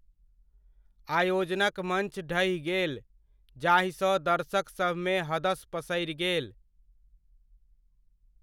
आयोजनक मञ्च ढहि गेल जाहिसँ दर्शकसभमे हदस पसरि गेल।